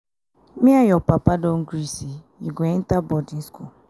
me and your papa don agree say you go enter boarding school